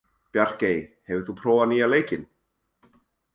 Bjarkey, hefur þú prófað nýja leikinn?